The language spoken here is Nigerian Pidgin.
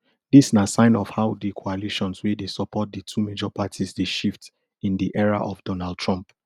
dis na sign of how di coalitions wey dey support di two major parties dey shift in di era of donald trump